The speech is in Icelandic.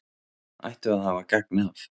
ættu að hafa gagn af.